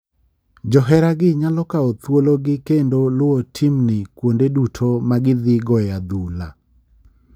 Johera gi nyalo kawo thuolo gi kendo luwo tim ni kuonde duto mago dhi goye adhula.